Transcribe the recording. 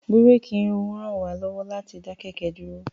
Búréèkì ràn wá lọ́wọ́ láti dá kẹ̀kẹ́ dúró.